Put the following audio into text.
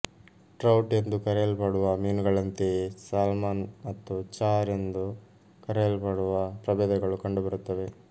trout ಎಂದು ಕರೆಯಲ್ಪಡುವ ಮೀನುಗಳಂತೆಯೇ ಸಾಲ್ಮನ್ ಮತ್ತು ಚಾರ್ ಎಂದು ಕರೆಯಲ್ಪಡುವ ಪ್ರಭೇದಗಳು ಕಂಡುಬರುತ್ತವೆ